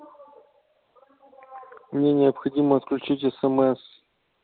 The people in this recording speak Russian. мне необходимо отключить смс